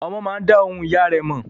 Ọmọ máa dá ohùn ìyá rẹ̀ mọ̀.